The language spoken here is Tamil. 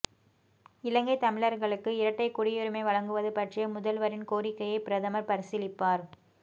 இலங்கைத் தமிழர்களுக்கு இரட்டைக்குடியுரிமை வழங்குவது பற்றிய முதல்வரின் கோரிக்கையை பிரதமர் பரிசீலிப்பார்